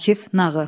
Akif Nağı.